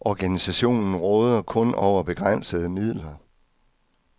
Organisationen råder kun over begrænsede midler.